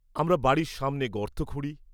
আমরা বাড়ির সামনে গর্ত খুঁড়ি।